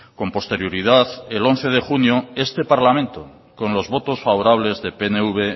con posterioridad el once de junio este parlamento con los votos favorables de pnv